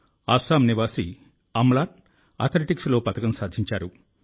అస్సాం నివాసి అమ్లాన్ అథ్లెటిక్స్లో పతకం సాధించారు